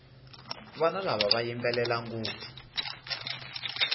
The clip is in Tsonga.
vana lava va yimbelela ngopfu